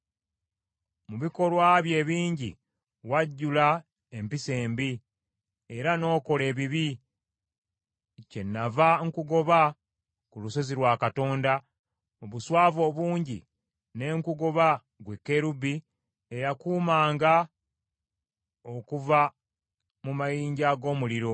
Mu bikolwa byo ebingi, wajjula empisa embi, era n’okola ebibi. Kyennava nkugoba ku lusozi lwa Katonda, mu buswavu obungi ne nkugoba ggwe kerubi eyakuumanga okuva mu mayinja ag’omuliro.